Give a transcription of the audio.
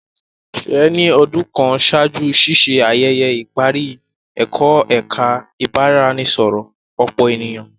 Sheye ni ọdun kàn ṣáájú ṣiṣe ayẹyẹ ìparí ẹkọ ẹka ibaraẹnisọrọ ọpọ ènìyàn.